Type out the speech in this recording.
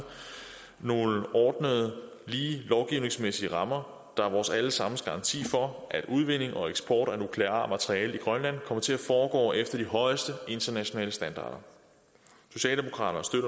nogle ordnede lige lovgivningsmæssige rammer der er vores alle sammens garanti for at udvinding og eksport af nukleart materiale i grønland kommer til at foregå efter de højeste internationale standarder socialdemokraterne